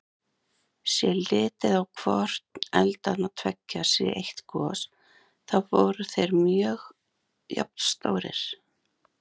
Sé litið á hvorn eldanna tveggja sem eitt gos, þá voru þeir mjög jafnstórir.